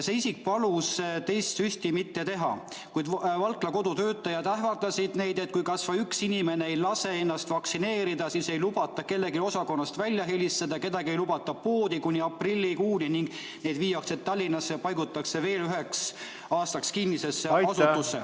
See isik palus teist süsti mitte teha, kuid Valkla Kodu töötajad ähvardasid, et kui kas või üks inimene ei lase ennast vaktsineerida, siis ei lubata kellelgi osakonnast välja helistada, kedagi ei lubata kuni aprillikuuni poodi ning nad viiakse Tallinnasse, paigutatakse veel üheks aastaks kinnisesse asutusse ...